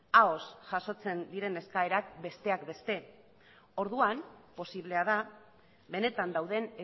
ahoz jasotzen diren eskaerak besteak beste orduan posiblea da benetan dauden